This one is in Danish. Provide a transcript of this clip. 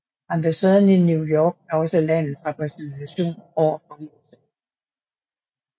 Ambassaden i New York er også landets repræsentation over for USA